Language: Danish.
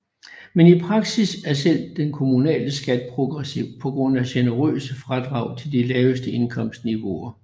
Men i praksis er selv den kommunale skat progressiv på grund af generøse fradrag til de laveste indkomstniveauer